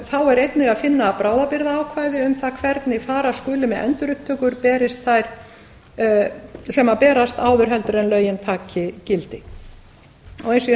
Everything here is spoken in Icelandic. þá er einnig að finna bráðabirgðaákvæði um það hvernig fara skuli með endurupptökur sem berast áður en lögin taki gildi eins og ég